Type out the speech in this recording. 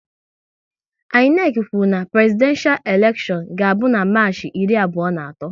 INEC kwụrụ na Prezidenshal elekshion ga abụ na Marchi iri abụọ na atọ